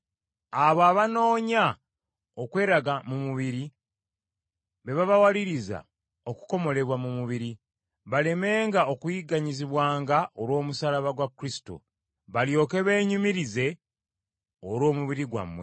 Abo abanoonya okweraga mu mubiri be babawaliriza okukomolebwa mu mubiri, balemenga okuyigganyizibwanga olw’omusaalaba gwa Kristo, balyoke beenyumirize olw’omubiri gwammwe.